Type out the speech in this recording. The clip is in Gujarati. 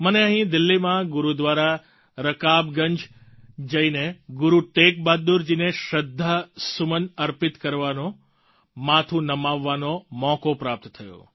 મને અહીં દિલ્હીમાં ગુરુદ્વારા રકાબગંજ જઈને ગુરુ તેગ બહાદુર જી ને શ્રદ્ધા સુમન અર્પિત કરવાનો માથું નમાવવાનો મોકો પ્રાપ્ત થયો